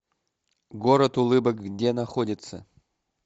город улыбок где находится